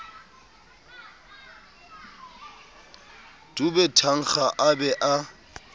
dube thankga a be a